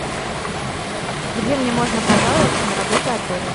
где мне можно пожаловаться на работу отеля